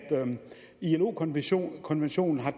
ilo konventionen konventionen og